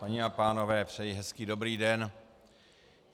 Paní a pánové, přeji hezký dobrý den.